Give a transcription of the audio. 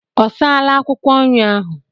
Ọ saala akwụkwọ nri ahụ?